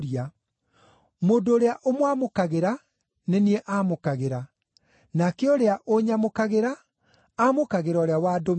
“Mũndũ ũrĩa ũmwamũkagĩra, nĩ niĩ amũkagĩra. Nake ũrĩa ũnyamũkagĩra, amũkagĩra ũrĩa wandũmire.